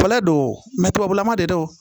Bɔla don mɛ tubabulama de don